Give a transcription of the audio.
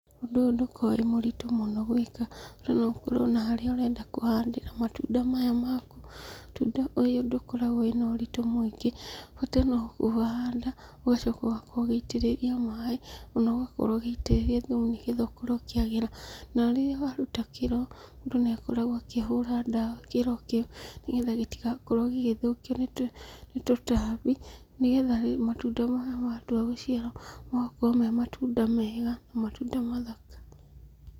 Ũndũ ũyũ ndũkoragwo wĩ mũritũ mũno gwĩka, bata noũkorwo na harĩa ũrenda kũhandĩra matunda maya maku. Mũtunda ũyũ ndũkoragwo wĩna ũritũ mũingĩ, bata nokũhanda, ũgacoka ũgakorwo ũgĩitĩrĩria maaĩ, na ũgakorwo ũgĩitĩrĩria thumu nĩgetha ũkorwo ũkĩagĩra, na rĩrĩa waruta kĩro, mũndũ nĩakoragwo akĩhũra ndawa kĩro kĩu, nĩgetha gĩtigakorwo gĩgĩthũkio nĩtũtambi, nĩgetha matunda maya matua gũciara magakorwo me matunda mega, matunda mathaka.